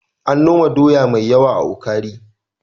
An noma doya mai yawa a Ukari.